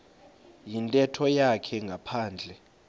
yintetho yakhe ngaphandle